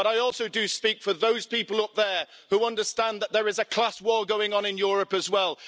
But I also do speak for those people up there who understand that there is a class war going on in Europe as well.